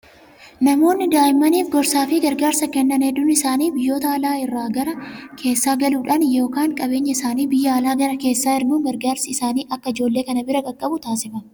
Namoonni daa'immmaniif gorsaa fi gargaarsa Kennan hedduun isaanii biyyoota alaa irraa gara keessaa galuudhaan yookaan qabeenyaa isaanii biyya alaa gara keessaa erguun gargaarsi isaanii akka ijoollee kana bira qaqqabu taasifama.